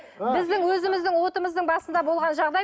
біздің өзіміздің отымыздың басында болған жағдай